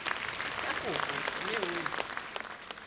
ya kopo mme o e